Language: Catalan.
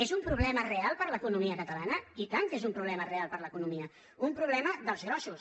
és un problema real per a l’economia catalana i tant que és un problema real per a l’economia un problema dels grossos